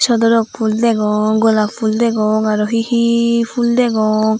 sodorok fhoo degong golap fhol degong aro he he fhul degong.